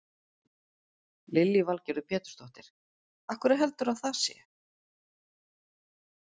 Lillý Valgerður Pétursdóttir: Af hverju heldurðu að það sé?